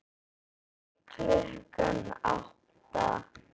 Fyrir klukkan átta?